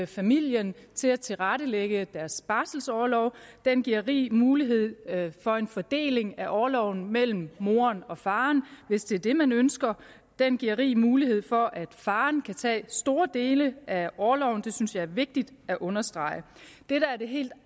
familierne til at tilrettelægge deres barselorlov den giver rig mulighed for en fordeling af orloven mellem moren og faren hvis det er det man ønsker den giver rig mulighed for at faren kan tage store dele af orloven det synes jeg er vigtigt at understrege det der er det helt